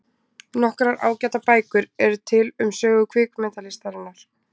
Nokkrar ágætar bækur eru til um sögu kvikmyndalistarinnar.